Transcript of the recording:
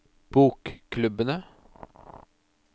bokklubbene